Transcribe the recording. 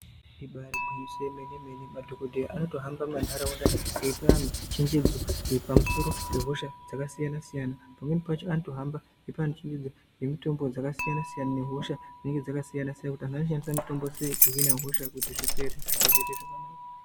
Ibari gwinyiso remene-mene madhokodheya anotohamba mundaraunda veipa antu chenjedzo pamusoro pehosha dzakasiyana-siyana pamweni pacho anotohamba eipa antu chenjedzo nemitombo dzakasiyana-siyana nehosha dzinenge dzakasiyana-siyana kuti vantu vanoshanda mitombo yakaita sei kuhina hosha zviite zvakanaka.